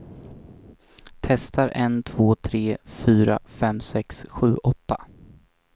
Testar en två tre fyra fem sex sju åtta.